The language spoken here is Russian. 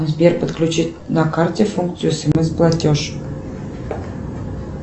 сбер подключи на карте функцию смс платеж